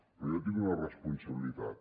però jo tinc una responsabilitat